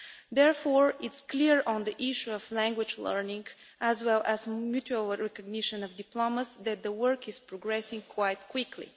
Therefore, on the issue of language learning, as well as mutual recognition of diplomas, it is clear that the work is progressing quite quickly.